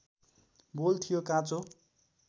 बोल थियो काँचो